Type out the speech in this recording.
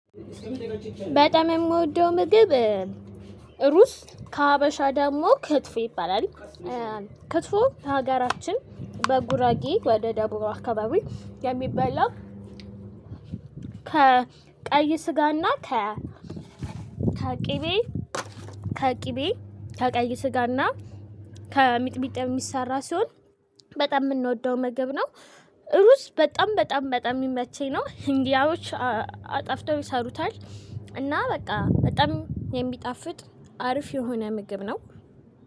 በጣም የምወደው ምግብ ሩዝ። ከሀበሻ ደግሞ ክትፎ ይባላል። ክትፎ በሀገራችን በጉራጌ ወደ ደቡብ አካባቢ የሚበላ ከ ቀይ ስጋና ከ ከቅቤ ከቅቤ ከቀዩ ስጋና ከሚጥሚጣ የሚሰራ ሲሆን በጣም የምንወደው ምግብ ነው። ሩዝ በጣም በጣም በጣም የሚመቸኝ ነው። ህንዲያዎች አጥፍተው ይሰሩታል እና በቃ በጣም የሚጣፍጥ አርፍ የሆነ ምግብ ነው።